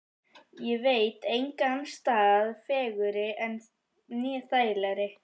Ég veit engan stað fegurri né þægilegri.